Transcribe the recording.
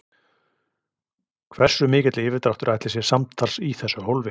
Hversu mikill yfirdráttur ætli sé samtals í þessu hólfi?